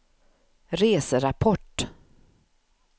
reserapport